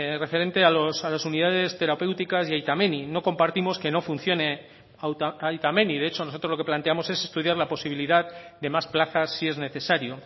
referente a las unidades terapéuticas y aita menni no compartimos que no funcione aita menni de hecho nosotros lo que planteamos es estudiar la posibilidad de más plazas si es necesario